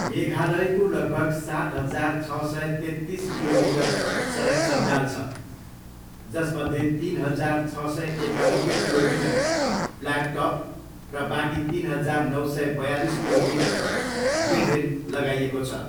मेघालयको लगभग सात हजार छ सय तेत्तिस किलोमिटर सडक सञ्जाल छ, जसमध्ये तिन हजार छ सय एकानब्बे किलोमिटर ब्ल्याक टप र बाँकी तिन हजार नौ सय बयालिस किलोमिटर ग्रेभेल लगाइएको छ।